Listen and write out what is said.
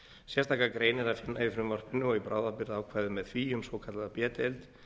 sérstaka grein er að finna í frumvarpinu og í bráðabirgðaákvæði með því um svokallaða b deild